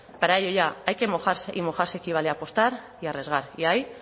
para ello ya hay que mojarse y mojarse equivale a apostar y arriesgar y ahí